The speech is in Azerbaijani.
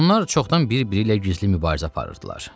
Onlar çoxdan bir-biri ilə gizli mübarizə aparırdılar.